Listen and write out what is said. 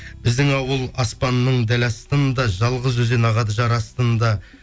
біздің ауыл аспанның дәл астында жалғыз өзен ағады жар астында